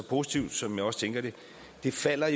positivt som jeg også tænker det falder